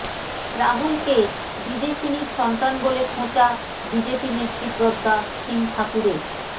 রাহুলকে বিদেশিনীর সন্তান বলে খোঁচা বিজেপিনেত্রী প্রজ্ঞা সিং ঠাকুরের